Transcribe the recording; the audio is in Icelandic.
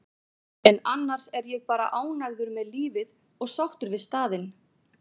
en annars er ég bara ánægður með lífið og sáttur við staðinn.